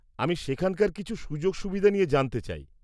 আমি সেখানকার কিছু সু্যোগ সুবিধা নিয়ে জানতে চাই।